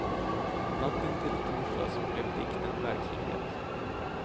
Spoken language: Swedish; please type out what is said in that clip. Natten till i torsdags blev dikten verklighet.